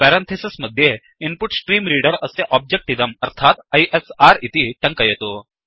parenthesis मध्ये input stream reader अस्य object इदम् अर्थात् आईएसआर इति टङ्कयतु